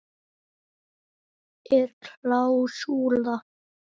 Er klásúla?